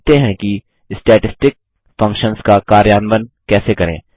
अब सीखते हैं कि स्टैटिस्टिक फंक्शन्स का कार्यान्वन कैसे करें